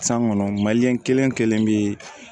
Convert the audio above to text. San kɔnɔ kelen o kelen bɛ